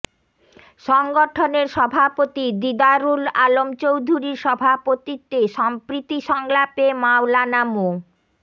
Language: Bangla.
সংগঠনের সভাপতি দিদারুল আলম চৌধুরীর সভাপতিত্বে সম্প্রীতি সংলাপে মাওলানা মো